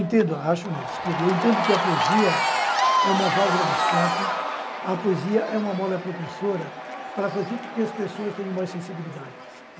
Entendo, acho não, desculpa, eu entendo que a poesia é uma válvula de escape, a poesia é uma mola propulsora para fazer com que as pessoas tenham mais sensibilidade.